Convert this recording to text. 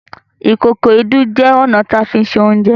Ìkòkò Èédú jẹ ọna ti a fí ṣe Oúnjẹ